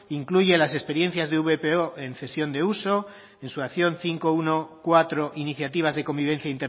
incluye las experiencias de vpo en cesión de uso en su acción quinientos catorce iniciativas de convivencia